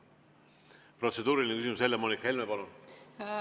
Protseduuriline küsimus, Helle‑Moonika Helme, palun!